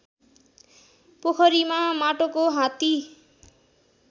पोखरीमा माटोको हात्ती